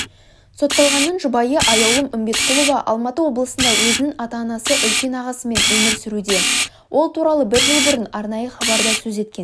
сотталғанның жұбайы аяулым үмбетқұлова алматы облысында өзінің ата-анасы үлкен ағасымен өмір сүруде ол туралы бір жыл бұрын арнайы хабарда сөз еткен